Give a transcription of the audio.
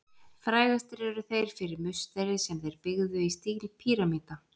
Frægastir eru þeir fyrir musteri sem þeir byggðu í stíl píramída.